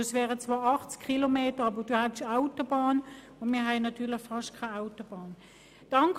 Es wären zwar 80 Kilometer, aber Sie könnten die Autobahn benutzen, während wir natürlich fast keine Autobahn haben.